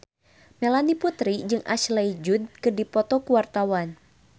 Melanie Putri jeung Ashley Judd keur dipoto ku wartawan